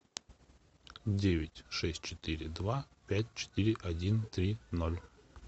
девять шесть четыре два пять четыре один три ноль